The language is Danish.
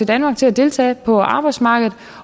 danmark til at deltage på arbejdsmarkedet